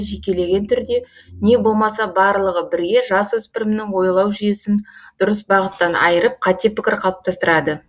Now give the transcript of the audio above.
жекелеген түрде не болмаса барлығы бірге жас өспірімнің ойлау жүйесін дұрыс бағыттан айырып қате пікір қалыптастырады